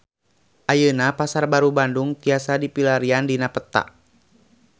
Ayeuna Pasar Baru Bandung tiasa dipilarian dina peta